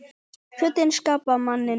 Fötin skapa manninn